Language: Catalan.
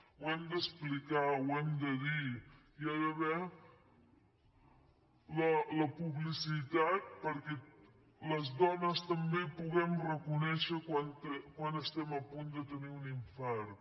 ho hem d’explicar ho hem de dir hi ha d’haver la publicitat perquè les dones també puguem reconèixer quan estem a punt de tenir un infart